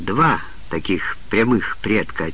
два таких прямых предка